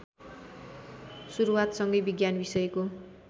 सुरूवातसंगै विज्ञान विषयको